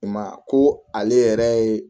I ma ye a ko ale yɛrɛ ye